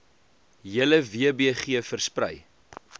hele wbg versprei